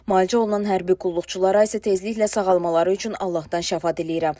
Müalicə olunan hərbi qulluqçulara isə tezliklə sağalmaları üçün Allahdan şəfa diləyirəm.